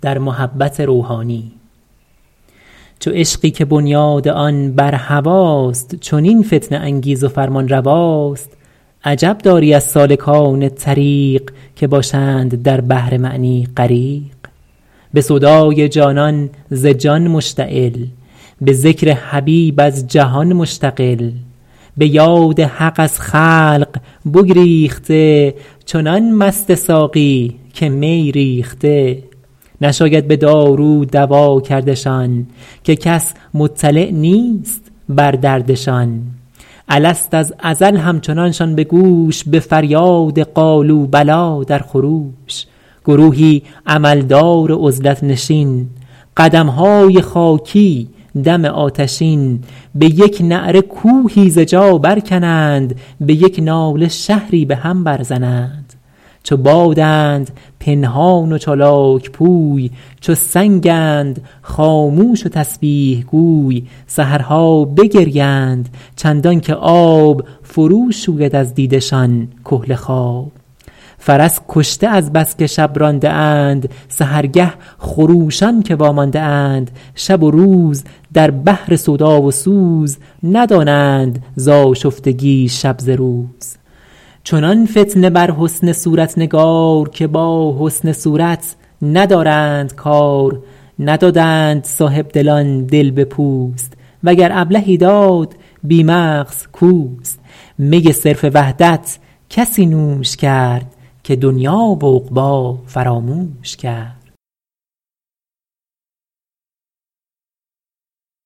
چو عشقی که بنیاد آن بر هواست چنین فتنه انگیز و فرمانرواست عجب داری از سالکان طریق که باشند در بحر معنی غریق به سودای جانان به جان مشتغل به ذکر حبیب از جهان مشتغل به یاد حق از خلق بگریخته چنان مست ساقی که می ریخته نشاید به دارو دوا کردشان که کس مطلع نیست بر دردشان الست از ازل همچنانشان به گوش به فریاد قالوا بلی در خروش گروهی عمل دار عزلت نشین قدمهای خاکی دم آتشین به یک نعره کوهی ز جا بر کنند به یک ناله شهری به هم بر زنند چو بادند پنهان و چالاک پوی چو سنگند خاموش و تسبیح گوی سحرها بگریند چندان که آب فرو شوید از دیده شان کحل خواب فرس کشته از بس که شب رانده اند سحرگه خروشان که وامانده اند شب و روز در بحر سودا و سوز ندانند ز آشفتگی شب ز روز چنان فتنه بر حسن صورت نگار که با حسن صورت ندارند کار ندادند صاحبدلان دل به پوست وگر ابلهی داد بی مغز اوست می صرف وحدت کسی نوش کرد که دنیا و عقبی فراموش کرد